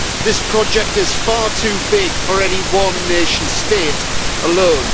This project is far too big for any one nation state alone.